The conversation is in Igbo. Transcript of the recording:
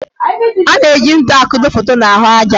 A na-eji ntu akudo foto n' ahụ aja.